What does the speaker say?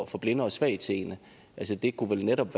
for blinde og svagtseende det det kunne vel netop